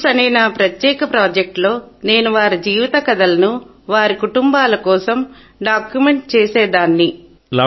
roots అనే నా ప్రత్యేక ప్రాజెక్టులో నేను వారి జీవిత కథలను వారి కుటుంబాల కోసం డాక్యుమెంట్ చేసేదానిని